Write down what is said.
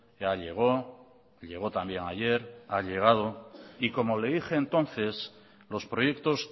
ya llegó llegó también ayer ha llegado y como le dije entonces los proyectos